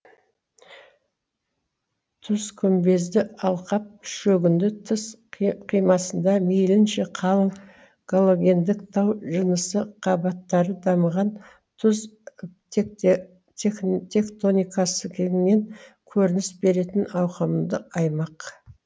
тұзкүмбезді алқап шөгінді тыс қи қимасында мейілінше қалың галогендік тау жынысы қабаттары дамыған тұз текте тектоникасы кеңінен көрініс беретін ауқымды аймақ